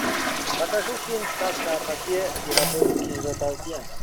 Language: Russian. покажи фильм сказка о попе и работнике его балде